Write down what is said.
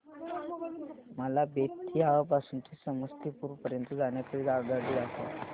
मला बेत्तीयाह पासून ते समस्तीपुर पर्यंत जाण्या करीता आगगाडी दाखवा